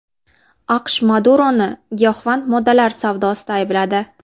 AQSh Maduroni giyohvand moddalar savdosida aybladi.